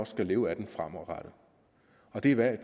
skal leve af den fremadrettet og det er hvad